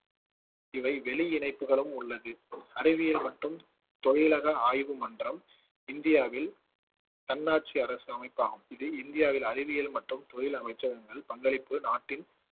இவை வெளி இணைப்புகளும் உள்ளது அறிவியல் மற்றும் தொழிலக ஆய்வு மன்றம் இந்தியாவில் தன்னாட்சி அரசு அமைப்பாகும் இது இந்தியாவில் அறிவியல் மற்றும் தொழில் அமைச்சகங்கள் பங்களிப்பு நாட்டின்